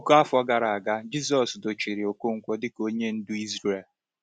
Puku afọ gara aga, Jisọshụ dochiri Okonkwo dịka onye ndu Izrel.